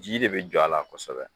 Ji de be jɔ a la kɔsɛbɛ.